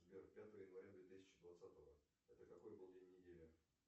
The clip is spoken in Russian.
сбер пятое января две тысячи двадцатого это какой был день недели